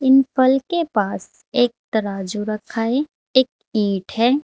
अं फल के पास एक तराजू रखा है एक ईंट है।